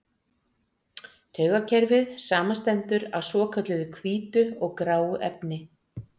Taugakerfið samanstendur af svokölluðu hvítu og gráu efni.